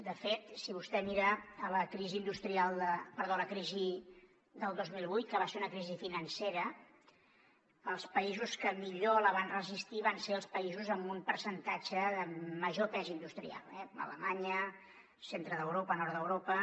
de fet si vostè mira la crisi del dos mil vuit que va ser una crisi financera els països que millor la van resistir van ser els països amb un percentatge de major pes industrial alemanya centre d’europa nord d’europa